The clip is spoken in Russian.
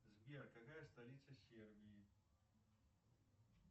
сбер какая столица сербии